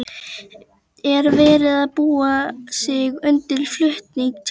Er verið að búa sig undir flutning til London?